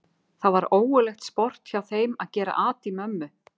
Það var ógurlegt sport hjá þeim að gera at í mömmu.